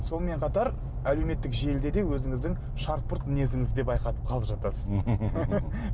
сонымен қатар әлеуметтік желіде де өзіңіздің шарт пырт мінезіңізді де байқатып қалып жатасыз